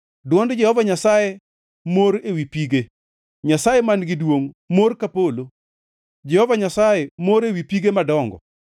Dwond Jehova Nyasaye mor ewi pige; Nyasaye mar duongʼ mor ka polo, Jehova Nyasaye mor ewi pige madongo.